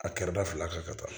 A kɛrɛda fila kan ka taa